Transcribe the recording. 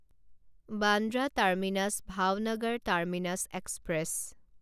Bandra terminus Bhavnagar terminus express